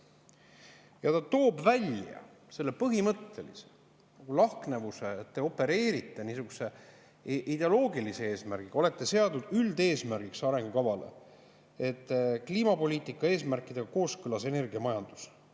Ja ta toob välja põhimõttelise lahknevuse, et te opereerite niisuguse ideoloogilise eesmärgiga, olete seadnud arengukavas üldeesmärgiks, et kliimapoliitika eesmärgid on kooskõlas energiamajandusega.